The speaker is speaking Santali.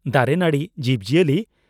ᱫᱟᱨᱮ ᱱᱟᱹᱬᱤ ᱡᱤᱵᱽ ᱡᱤᱭᱟᱹᱞᱤ